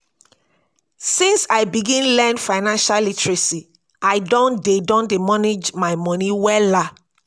since i begin learn financial literacy i don dey i don dey manage my moni wella.